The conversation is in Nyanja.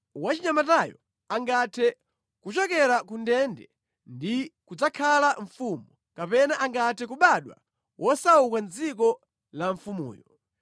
Wachinyamatayo angathe kuchokera ku ndende ndi kudzakhala mfumu, kapena angathe kubadwa wosauka mʼdziko la mfumuyo.